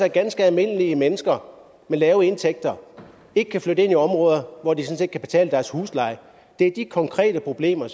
at ganske almindelige mennesker med lave indtægter ikke kan flytte ind i områder hvor de sådan set kan betale huslejen det er de konkrete problemer